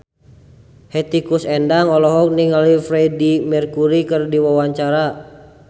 Hetty Koes Endang olohok ningali Freedie Mercury keur diwawancara